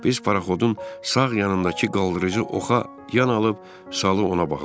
Biz paraxodun sağ yanındakı qaldırıcı oxa yan alıb salı ona bağladıq.